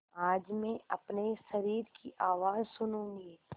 आज मैं अपने शरीर की आवाज़ सुनूँगी